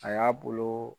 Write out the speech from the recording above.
A y'a bolo